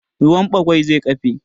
Ruwan ɓagwai zai ƙafe